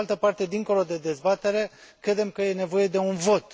Pe de altă parte, dincolo de dezbatere, credem că e nevoie de un vot.